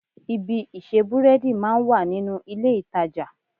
Ibi ìṣe búrẹ́dì máa ń wà nínú ilé-ìtàjà